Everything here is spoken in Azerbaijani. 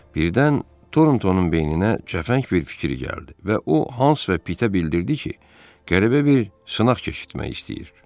Birdən Torntonun beyninə cəfəng bir fikir gəldi və o Hans və Pitə bildirdi ki, qəribə bir sınaq keçirmək istəyir.